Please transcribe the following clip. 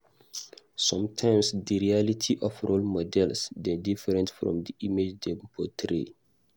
Sometimes, di reality of role models dey different from di image dem portray.